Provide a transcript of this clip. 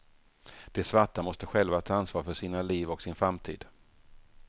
De svarta måste själva ta ansvar för sina liv och sin framtid.